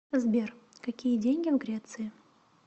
сбер какие деньги в греции